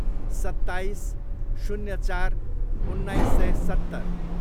सत्ताइस, शून्य चार, उन्नाइस सय सत्तर